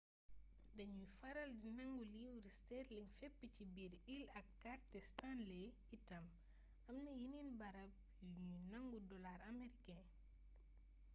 dañuy faral di nangu livre sterling fépp ci biir îles ak kàrte stanley itam amna yeneen baram yu ñuy nangu dollar américain